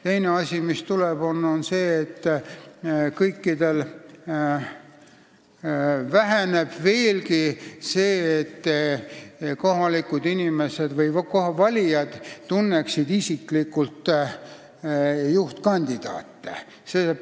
Teine asi, mis tuleb, on see, et kõikjal väheneb veelgi see, et kohalikud valijad tunneksid juhtkandidaate isiklikult.